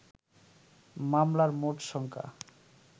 মামলার মোট সংখ্যা